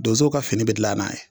Donsow ka fini be dilan n'a ye